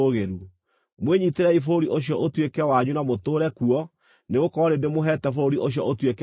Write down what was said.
Mwĩnyiitĩrei bũrũri ũcio ũtuĩke wanyu na mũtũũre kuo, nĩgũkorwo nĩ ndĩmũheete bũrũri ũcio ũtuĩke wanyu.